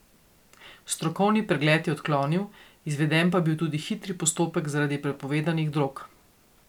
Strokovni pregled je odklonil, izveden pa je bil tudi hitri postopek zaradi prepovedanih drog.